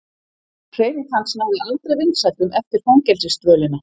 Hreyfing hans náði aldrei vinsældum eftir fangelsisdvölina.